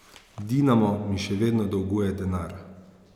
Dinamo mi še vedno dolguje denar.